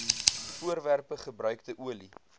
voorwerpe gebruikte olie